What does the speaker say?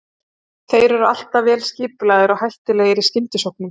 Þeir eru alltaf vel skipulagðir og hættulegir í skyndisóknum.